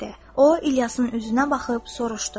O, İlyasın üzünə baxıb soruşdu: